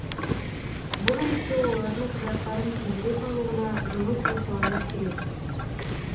бұл ретте олардың құжаттарын тезірек алуына жұмыс жасауымыз керек